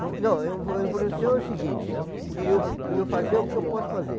Não, influenciou o seguinte, que eu eu ia fazer o que eu posso fazer.